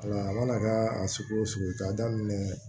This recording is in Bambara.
Wala a mana kɛ a sugu o sugu ye k'a daminɛ